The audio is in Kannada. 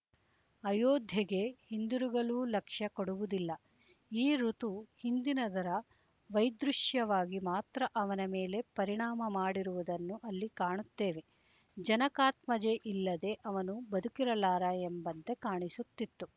ಅಯೋಧ್ಯೆಗೆ ಹಿಂದಿರುಗಲೂ ಲಕ್ಷ್ಯ ಕೊಡುವುದಿಲ್ಲ ಈ ಋತು ಹಿಂದಿನದರ ವೈದೃಶ್ಯವಾಗಿ ಮಾತ್ರ ಅವನ ಮೇಲೆ ಪರಿಣಾಮ ಮಾಡಿರುವುದನ್ನು ಅಲ್ಲಿ ಕಾಣುತ್ತೇವೆ ಜನಕಾತ್ಮಜೆಯಿಲ್ಲದೆ ಅವನು ಬದುಕಿರಲಾರ ಎಂಬಂತೆ ಕಾಣಿಸುತ್ತಿತ್ತು